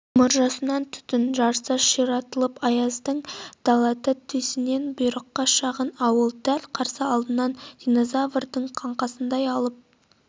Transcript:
мұржасынан түтін жарыса ширатылып аязды даланың төсінде бұйыққан шағын ауыл дәл қарсы алдында диназаврдың қаңқасындай алып